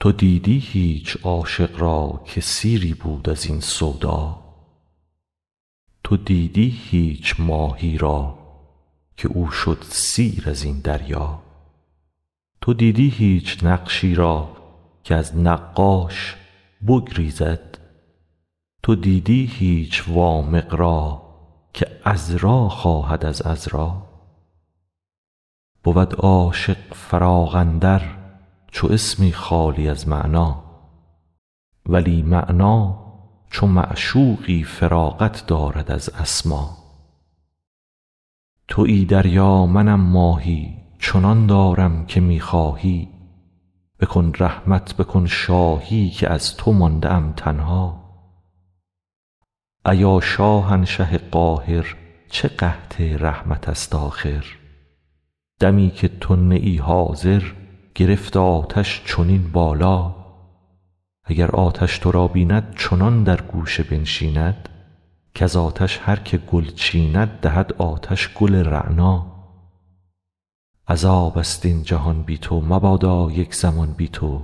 تو دیدی هیچ عاشق را که سیری بود از این سودا تو دیدی هیچ ماهی را که او شد سیر از این دریا تو دیدی هیچ نقشی را که از نقاش بگریزد تو دیدی هیچ وامق را که عذرا خواهد از عذرا بود عاشق فراق اندر چو اسمی خالی از معنی ولی معنی چو معشوقی فراغت دارد از اسما توی دریا منم ماهی چنان دارم که می خواهی بکن رحمت بکن شاهی که از تو مانده ام تنها ایا شاهنشه قاهر چه قحط رحمت ست آخر دمی که تو نه ای حاضر گرفت آتش چنین بالا اگر آتش تو را بیند چنان در گوشه بنشیند کز آتش هر که گل چیند دهد آتش گل رعنا عذاب ست این جهان بی تو مبادا یک زمان بی تو